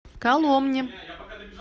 коломне